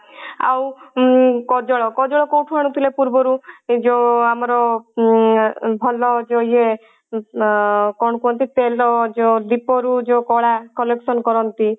ଆଉ ଉଁ କଜଳ କଜଳ କଉଠୁ ଆଣୁଥିଲେ ପୂର୍ବରୁ ଯଉ ଆମର ଉଁ ଭଲ ଯଉ ଇଏ ଆଁ କଣ କୁହନ୍ତି ତେଲ ଯଉ ଦୀପ ରୁ ଯଉ କଳା collection କରନ୍ତି